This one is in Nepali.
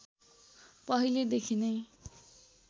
पहिले देखि नै